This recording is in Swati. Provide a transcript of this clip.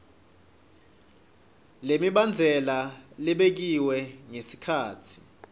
lemibandzela lebekiwe ngesikhatsi